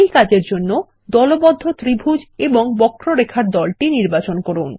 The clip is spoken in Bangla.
এই কাজের জন্য দলবদ্ধ ত্রিভুজ এবং বক্ররেখার দলটি নির্বাচন করুন